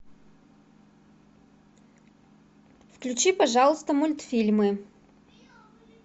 включи пожалуйста мультфильмы